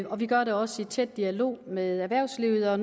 og vi gør det også i tæt dialog med erhvervslivet